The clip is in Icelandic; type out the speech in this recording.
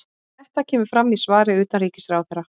Þetta kemur fram í svari utanríkisráðherra